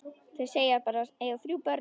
Þau segjast eiga þrjú börn.